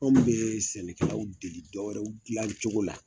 Minnu bɛ sɛnɛkɛlaw deli dɔw wɛrɛw dilan cogo la